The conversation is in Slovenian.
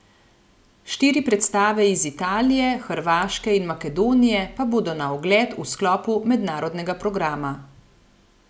Štiri predstave iz Italije, Hrvaške in Makedonije pa bodo na ogled v sklopu mednarodnega programa.